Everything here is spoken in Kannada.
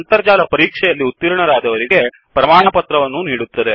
ಅಂತರ್ಜಾಲ ಪರೀಕ್ಷೆಯಲ್ಲಿ ಉತ್ತೀರ್ಣರಾದವರಿಗೆ ಪ್ರಮಾಣಪತ್ರವನ್ನೂ ನೀಡುತ್ತದೆ